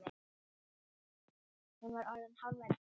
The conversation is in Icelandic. Hún var orðin hálf ellefu.